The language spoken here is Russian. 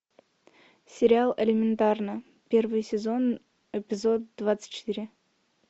сериал элементарно первый сезон эпизод двадцать четыре